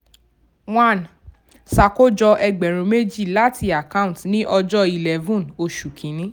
one ṣàkójọ ẹgbẹ̀rún méjì láti account ní ọjọ́ eleven oṣù kìíní.